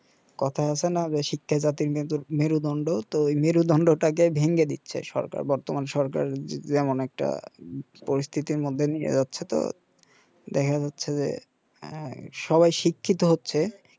কথায় আছেনা যে শিক্ষাই জাতির মেজর মেরুদণ্ড তো মেরুদণ্ডটাকে ভেঙে দিচ্ছে সরকার বর্তমান সরকার যেমন একটা পরিস্থিতির মধ্যে নিয়ে যাচ্ছে তো দেখা যাচ্ছে যে এ সবাই শিক্ষিত হচ্ছে